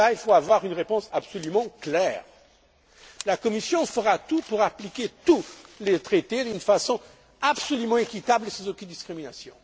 Là, il faut avoir une réponse absolument claire. La Commission fera tout pour appliquer tous les traités d'une façon absolument équitable et sans aucune discrimination.